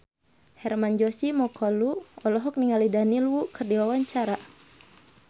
Hermann Josis Mokalu olohok ningali Daniel Wu keur diwawancara